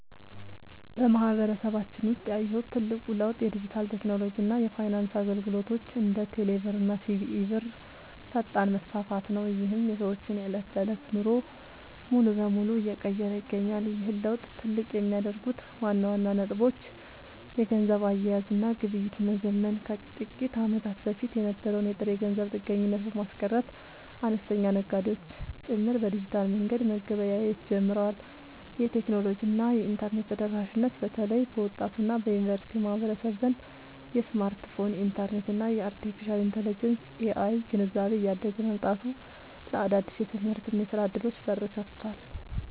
በማህበረሰባችን ውስጥ ያየሁት ትልቁ ለውጥ የዲጂታል ቴክኖሎጂ እና የፋይናንስ አገልግሎቶች (እንደ ቴሌብር እና ሲቢኢ ብር) ፈጣን መስፋፋት ነው፤ ይህም የሰዎችን የዕለት ተዕለት ኑሮ ሙሉ በሙሉ እየቀየረ ይገኛል። ይህን ለውጥ ትልቅ የሚያደርጉት ዋና ዋና ነጥቦች - የገንዘብ አያያዝ እና ግብይት መዘመን፦ ከጥቂት ዓመታት በፊት የነበረውን የጥሬ ገንዘብ ጥገኝነት በማስቀረት፣ አነስተኛ ነጋዴዎች ጭምር በዲጂታል መንገድ መገበያየት ጀምረዋል። የቴክኖሎጂ እና የኢንተርኔት ተደራሽነት፦ በተለይ በወጣቱ እና በዩኒቨርሲቲ ማህበረሰብ ዘንድ የስማርትፎን፣ የኢንተርኔት እና የአርቴፊሻል ኢንተለጀንስ (AI) ግንዛቤ እያደገ መምጣቱ ለአዳዲስ የትምህርትና የሥራ ዕድሎች በር ከፍቷል።